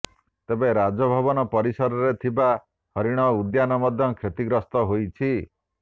ତେବେ ରାଜଭବନ ପରିସରରେ ଥିବା ହରିଣ ଉଦ୍ୟାନ ମଧ୍ୟ କ୍ଷତିଗ୍ରସ୍ତ ହୋଇଛି